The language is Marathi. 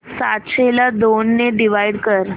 सातशे ला दोन ने डिवाइड कर